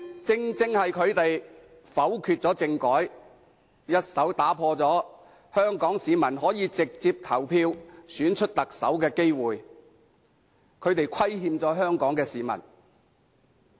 正因為他們否決政改，一手剝奪香港市民可以直接投票選出特首的機會，他們對香港市民有所虧欠。